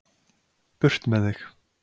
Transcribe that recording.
Burt með þig.